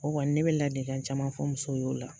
O kɔni ne be ladikan caman fɔ musow y'o la